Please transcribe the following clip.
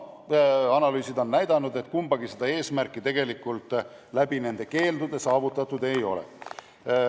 Analüüsid on aga näidanud, et kumbagi eesmärki nende keeldudega tegelikult saavutatud ei ole.